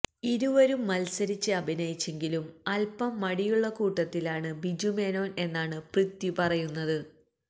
ഇരുവരും മത്സരിച്ച് അഭിനയിച്ചെങ്കിലും അല്പ്പം മടിയുള്ള കൂട്ടത്തിലാണ് ബിജു മേനോന് എന്നാണ് പൃഥ്വി പറയുന്നത്